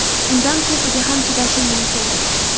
Undan ko‘piga ham chidashim mumkin.